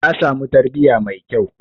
Ta samu tarbiyya mai kyau.